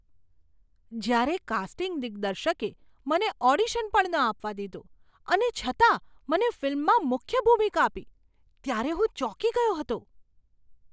જ્યારે કાસ્ટિંગ દિગ્દર્શકે મને ઓડિશન પણ ન આપવા દીધું અને છતાં મને ફિલ્મમાં મુખ્ય ભૂમિકા આપી, ત્યારે હું ચોંકી ગયો હતો.